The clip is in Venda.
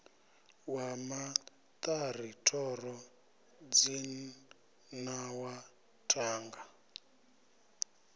wa maṱari thoro dzinawa thanga